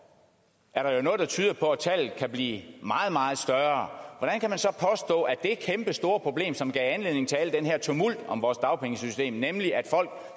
er der jo noget der tyder på at tallet kan blive meget meget større når det kæmpestore problem som gav anledning til al den her tumult om vores dagpengesystem nemlig at folk